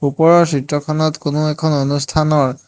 ওপৰৰ চিত্ৰখনত কোনো এখন অনুষ্ঠানৰ --